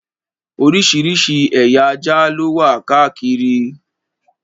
Oríṣiríṣi ẹ̀yà ajá ló wà káàkiri.